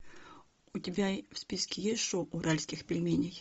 у тебя в списке есть шоу уральских пельменей